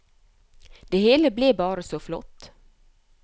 Det hele ble bare så flott.